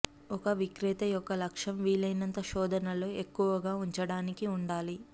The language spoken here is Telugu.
ఒక విక్రేత యొక్క లక్ష్యం వీలైనంత శోధనలో ఎక్కువగా ఉంచడానికి ఉండాలి